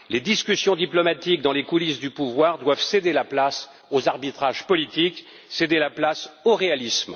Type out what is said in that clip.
Les discussions diplomatiques dans les coulisses du pouvoir doivent céder la place aux arbitrages politiques et au réalisme.